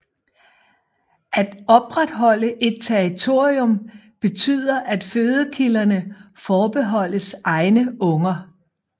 At opretholde et territorium betyder at fødekilderne forbeholdes egne unger